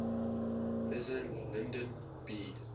president lyndon b